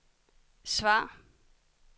svar